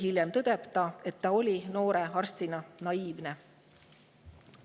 Hiljem tõdeb ta, et ta oli noore arstina naiivne.